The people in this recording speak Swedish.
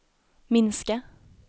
minska